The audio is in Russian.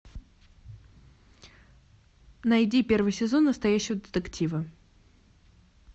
найди первый сезон настоящего детектива